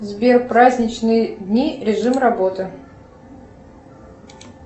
сбер праздничные дни режим работы